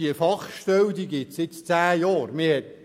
Die Fachstelle existiert seit zehn Jahren.